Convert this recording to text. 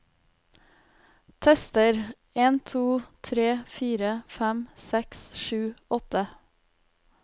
Tester en to tre fire fem seks sju åtte